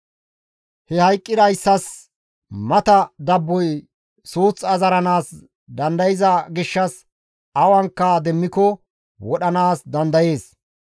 He hayqqidayssas mata dabboy suuth azaranaas dandayza gishshas awanka demmiko wodhanaas dandayees.